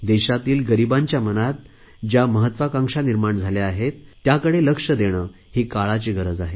देशातील गरीबांच्या मनात ज्या महत्त्वाकांक्षा निर्माण झाल्या आहेत त्याकडे लक्ष देणे ही काळाची गरज आहे